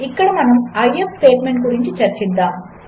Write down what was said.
ఇక్కడమనము I F స్టేట్మెంట్గురించిచర్చిద్దాము